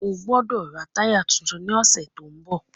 Ọgbọ́dọ̀ rà táyà titun ní ọ̀sẹ̀ tó ń bọ̀